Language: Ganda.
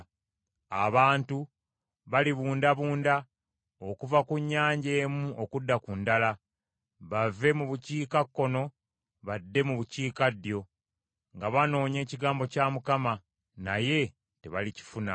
Abantu balibundabunda okuva ku nnyanja emu okudda ku ndala, bave mu bukiikakkono badde mu bukiikaddyo nga banoonya ekigambo kya Mukama , naye tebalikifuna.